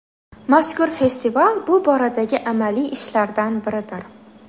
Mazkur festival bu boradagi amaliy ishlardan biridir.